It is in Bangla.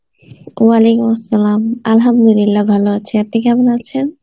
Arbi ভালো আছি, আপনি কেমন আছেন?